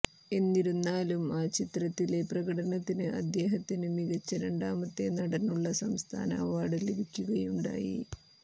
എന്നിരുന്നാലും ആ ചിത്രത്തിലെ പ്രകടനത്തിന് അദ്ദേഹത്തിന് മികച്ച രണ്ടാമത്തെ നടനുള്ള സംസ്ഥാന അവാർഡ് ലഭിക്കുകയുണ്ടായി